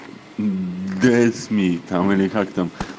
гесми там или как-то